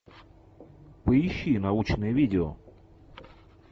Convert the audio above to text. поищи научное видео